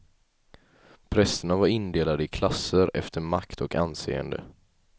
Prästerna var indelade i klasser efter makt och anseende.